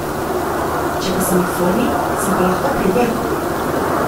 Če pa sem v formi, sem pa lahko pri vrhu.